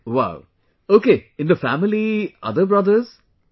Wow, ok in the family other brothers...